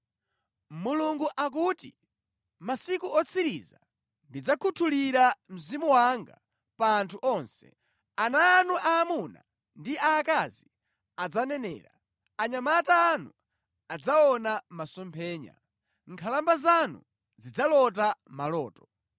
“ ‘Mulungu akuti, mʼmasiku otsiriza ndidzakhuthulira Mzimu wanga pa anthu onse. Ana anu aamuna ndi aakazi adzanenera, anyamata anu adzaona masomphenya, nkhalamba zanu zidzalota maloto.